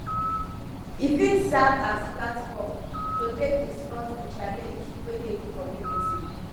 e fit serve as platform to take discuss di challenge wey dey di community